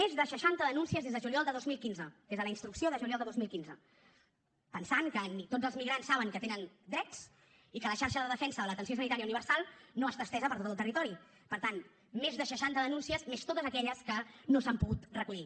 més de seixanta denúncies des de juliol de dos mil quinze des de la instrucció de juliol de dos mil quinze pensant que ni tots els migrants saben que tenen drets i que la xarxa de defensa de l’atenció sanitària universal no està estesa per tot el territori per tant més de seixanta denúncies més totes aquelles que no s’han pogut recollir